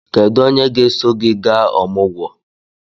Kedu onye ga-eso gị gaa ọmụgwọ?